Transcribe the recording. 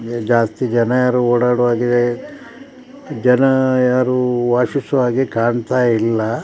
ಜಾಸ್ತಿ ಜನರು ಓಡಾಡುವಾಗ ಜನ ಯಾರು ವಾಸಿಸುವ ಹಾಗೆ ಕಾಣ್ತಾ ಇಲ್ಲ.